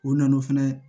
O na na o fɛnɛ